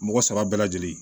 Mɔgɔ saba bɛɛ lajɛlen